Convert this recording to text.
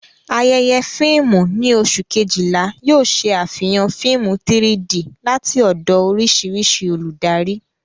Ayẹyẹ fíìmù ní oṣù Kejìlá yóò ṣe àfihàn fíìmù 3-D láti ọ̀dọ̀ oríṣiríṣi olùdarí.